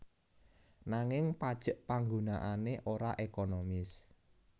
Nanging pajek panggunaané ora ekonomis